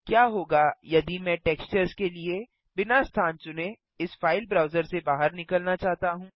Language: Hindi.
क्या होगा यदि मैं टेक्सचर्स के लिए बिना स्थान चुनें इस फ़ाइल ब्राउज़र से बाहर निकलना चाहता हूँ